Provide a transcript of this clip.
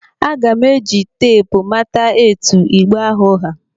Aga m eji teepu mata etu igbe ahụ ha.